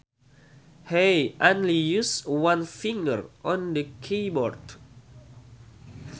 He only uses one finger on the keyboard